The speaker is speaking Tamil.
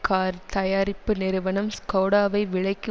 கார் தயாரிப்பு நிறுவனம் ஸ்கோடாவை விலைக்கு